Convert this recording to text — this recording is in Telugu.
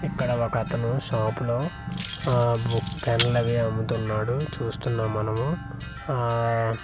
ఇక్కడ ఒక అతను షాప్ లో ఆ బూ పెన్లు అవి అమ్ముతున్నాడు చూస్తున్నాము మనము అఆఆ .